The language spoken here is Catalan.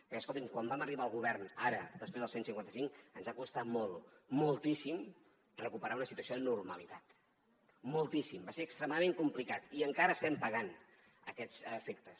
perquè escolti’m quan vam arribar al govern ara després del cent i cinquanta cinc ens ha costat molt moltíssim recuperar una situació de normalitat moltíssim va ser extremadament complicat i encara estem pagant aquests efectes